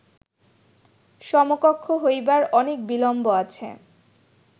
সমকক্ষ হইবার অনেক বিলম্ব আছে